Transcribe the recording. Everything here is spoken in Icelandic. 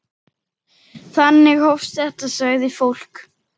Þannig hófst þetta, sagði fólk.